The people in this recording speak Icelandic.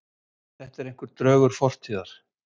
Þetta er einhver draugur fortíðar